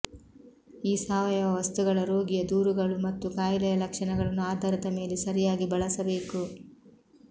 ಈ ಸಾವಯವ ವಸ್ತುಗಳ ರೋಗಿಯ ದೂರುಗಳು ಮತ್ತು ಕಾಯಿಲೆಯ ಲಕ್ಷಣಗಳನ್ನು ಆಧಾರದ ಮೇಲೆ ಸರಿಯಾಗಿ ಬಳಸಬೇಕು